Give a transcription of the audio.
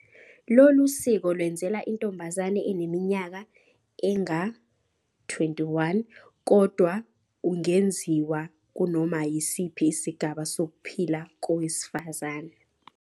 Lolu siko lwenzelwa intomabazane eneminyaka enga-21, kodwa ungenziwa kunoma yisiphi isigaba sokuphila kowesifazane.